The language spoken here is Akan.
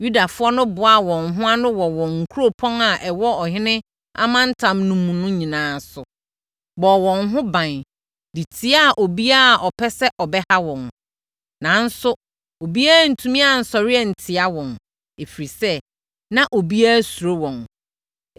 Yudafoɔ no boaa wɔn ho ano wɔ wɔn nkuropɔn a ɛwɔ ɔhene amantam no mu no nyinaa so, bɔɔ wɔn ho ban, de tiaa obiara a ɔpɛ sɛ ɔbɛha wɔn. Nanso, obiara antumi ansɔre antia wɔn, ɛfiri sɛ, na obiara suro wɔn.